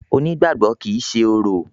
Onígbàgbọ́ kìí ṣe orò.